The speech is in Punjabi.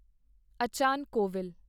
ਅਚਨ ਕੋਵਿਲ